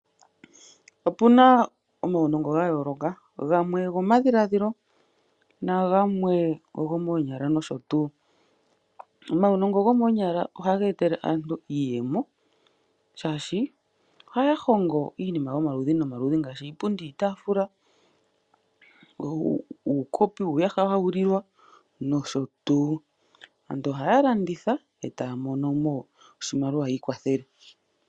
Opuna omaunongo ga yooloka, gamwe ogo madhiladhilo nagamwe ogo moonyala nosho tuu. Omaunongo gomoonyala ohaga etele aantu iiyemo oshoka ohaya hongo iinima yomaludhi nomaludhi ngaashi iipundi, iitaafula , uukopi, uuyaha hawu lilwa nosho tuu. Aantu ohaya landitha etaya monomo oshimaliwa yi ikwathele.